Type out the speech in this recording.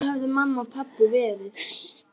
Svona höfðu mamma og pabbi verið.